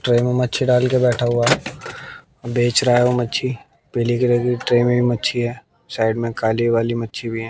Tray में मच्छी डाल के बैठा हुआ बेच रहा है वो मच्छी पीले कलर की ट्रे में मच्छी हैं साइड में काली वाली मच्छी हैं।